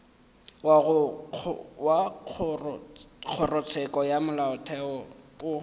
wa kgorotsheko ya molaotheo o